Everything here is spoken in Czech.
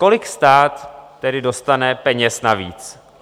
Kolik stát tedy dostane peněz navíc?